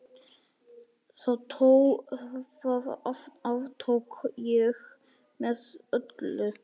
Það aftók ég með öllu.